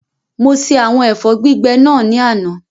Mo ṣe àwọn ẹ̀fọ́ gbígbẹ náà ní àná